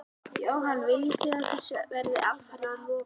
Jóhann: Viljið þið að þessu verði alfarið lokað?